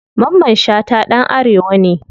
Mamman shata ɗan arewa ne.